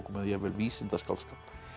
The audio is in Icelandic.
eða jafnvel vísindaskáldskap